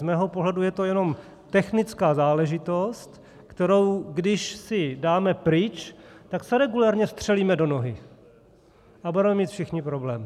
Z mého pohledu je to jenom technická záležitost, kterou když si dáme pryč, tak se regulérně střelíme do nohy a budeme mít všichni problém.